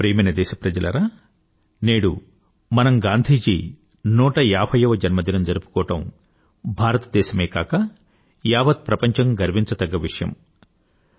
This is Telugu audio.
నా ప్రియమైన దేశ ప్రజలారా నేడు మనం గాంధీజీ 150 వ జన్మదినం జరుపుకోవడం భారతదేశమే కాక యావత్ ప్రపంచం గర్వించదగ్గ విషయం